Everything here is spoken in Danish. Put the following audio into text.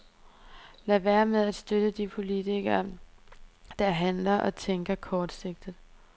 Lad være med at støtte de politikere, der handler og tænker kortsigtet.